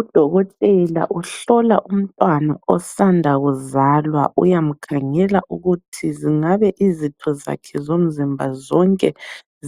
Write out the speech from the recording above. Udokotela uhlola umntwana osanda kuzalwa, uyamkhangela ukuthi zingabe izitho zakhe zomzimba zonke